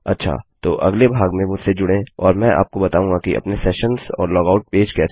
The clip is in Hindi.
अच्छा तो अगले भाग में मुझसे जुड़ें और मैं आपको बताऊँगा कि अपने सेशन्स और लॉगआउट पेज कैसे बनायें